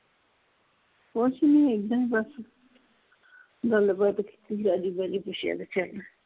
ਕੁਛ ਨਹੀਂ ਏਦਾਂ ਈ ਬੱਸ ਗੱਲਬਾਤ ਕੀਤੀ ਰਾਜੀ ਬਾਜੀ ਪੁੱਛਿਆ ਬੱਚਿਆ ਦਾ ।